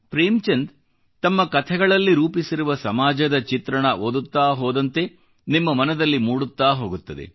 ಪ್ರೇಮ್ಚಂದ್ ತಮ್ಮ ಕಥೆಗಳಲ್ಲಿ ರೂಪಿಸಿರುವ ಸಮಾಜದ ಚಿತ್ರಣ ಓದುತ್ತಾ ಹೋದಂತೆ ನಿಮ್ಮ ಮನದಲ್ಲಿ ಮೂಡುತ್ತಾ ಹೋಗುತ್ತದೆ